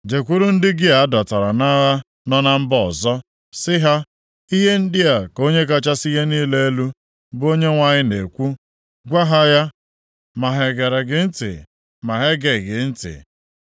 Jekwuru ndị gị a dọtara nʼagha nọ na mba ọzọ, sị ha, ‘Ihe ndị a ka Onye kachasị ihe niile elu, bụ Onyenwe anyị na-ekwu,’ Gwa ha ya, ma ha gere gị ntị ma ha egeghị gị ntị.”